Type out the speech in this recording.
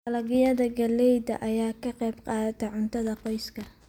Dalagyada galleyda ayaa ka qayb qaata cuntada qoyska.